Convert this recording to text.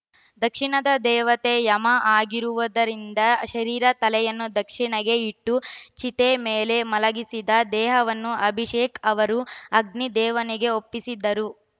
ದಕ್ಷಿಣದ ದೇವತೆ ಯಮ ಆಗಿರುವುದರಿಂದ ಶರೀರ ತಲೆಯನ್ನು ದಕ್ಷಿಣಗೆ ಇಟ್ಟು ಚಿತೆ ಮೇಲೆ ಮಲಗಿಸಿದ್ದ ದೇಹವನ್ನು ಅಭಿಷೇಕ್‌ ಅವರು ಅಗ್ನಿ ದೇವನಿಗೆ ಒಪ್ಪಿಸಿದರು